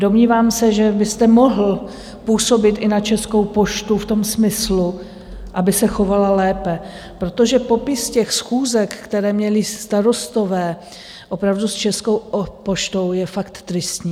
Domnívám se, že byste mohl působit i na Českou poštu v tom smyslu, aby se chovala lépe, protože popis těch schůzek, které měli starostové opravdu s Českou poštou, je fakt tristní.